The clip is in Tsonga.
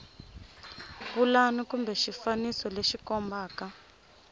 pulani kumbe xifaniso lexi kombaka